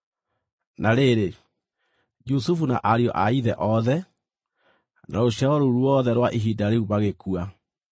Na rĩrĩ, Jusufu na ariũ a ithe othe, na rũciaro rũu ruothe rwa ihinda rĩu magĩkua,